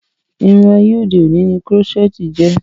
Irun ayé òde òni ni Kírọ́sẹ̀tì jẹ́